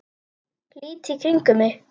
Lít í kringum mig.